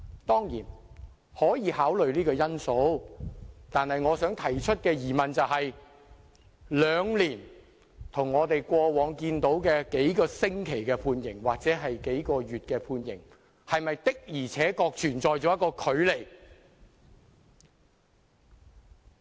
"當然，可以考慮這個因素，但我想提出的疑問是，兩年的判期，跟過往案例的幾個星期或幾個月的刑期相比，是否的確存在距離？